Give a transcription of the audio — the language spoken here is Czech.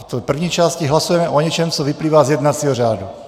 V první části hlasujeme o něčem, co vyplývá z jednacího řádu.